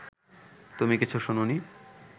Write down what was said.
তুমি কিছু শোনোনি